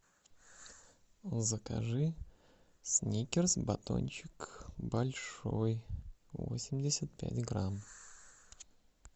закажи сникерс батончик большой восемьдесят пять грамм